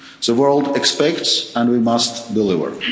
century. The world expects, and we must